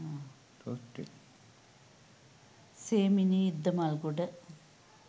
semini iddamalgoda